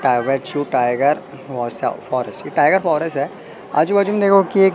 private tiger बहुत सा forest ये टाइगर फॉरेस्ट है आजू बाजू में देखो कि एक--